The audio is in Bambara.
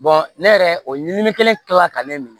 ne yɛrɛ o ɲiminen kɛra ka ne